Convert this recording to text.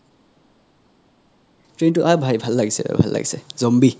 অহ ভাই ভাল লাগিছে ৰে ভাল লাগিছে zombie